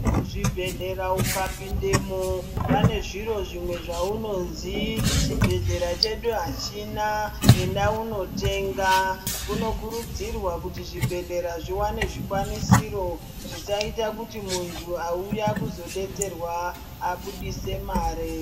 Mu zvibhedhlera uka pindemo pane zviro zvimwe zvaunozi chi bhedhlera chedu achina enda uno tenga kuno kurudzirwa kuti zvi bhedhlera zviwane zvikwanisiro zvisaita kuti muntu auya kuzo detserwa abudise mare.